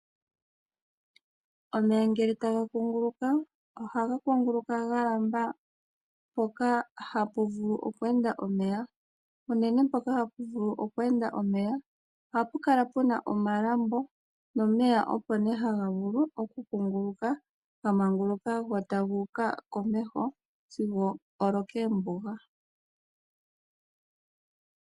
Omeya ngele taga kunguluka ohaga kunguluka ga lamba mpoka hapu vulu oku enda omeya, unene mpoka hapu vulu oku enda omeya. Ohapu kala pu na omalambo nomeya opo nee haga vulu okukunguluka ga manguluka, go taga uka komeho sigo olo koombuga.